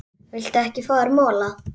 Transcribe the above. Viltu ekki fá þér mola?